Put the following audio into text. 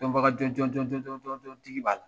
Dɔnbaga jɔn jɔn jɔn jɔn tigi b'a la.